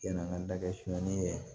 Yann'an ka da kɛ simanin ye